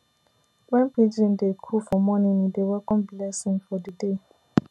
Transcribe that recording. when pigeon dey coo for morning e dey welcome blessing for the day